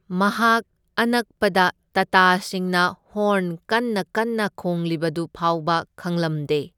ꯃꯍꯥꯛ ꯑꯅꯛꯄꯗ ꯇꯇꯥꯁꯤꯡꯅ ꯍꯣꯔꯟ ꯀꯟꯅ ꯀꯟꯅ ꯈꯣꯡꯂꯤꯕꯗꯨ ꯐꯥꯎꯕ ꯈꯪꯂꯝꯗꯦ꯫